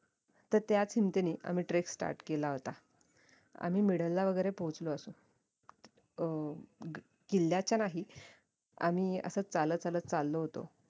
तर त्याच हिंमतीने आम्ही trek start केला होता आम्ही middle ला वैगेरे पोहचलो असू अह किल्याच्या नाही आम्ही असच चालत चालत चालो होतो